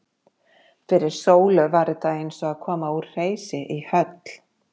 Fyrir Sólu var þetta eins og að koma úr hreysi í höll.